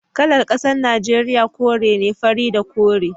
Kalar kasar Najeriya kore ne, fari da kore